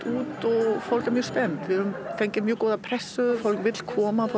út og fólk er mjög spennt við höfum fengið mjög góða pressu fólk vill koma og